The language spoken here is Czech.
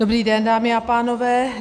Dobrý den, dámy a pánové.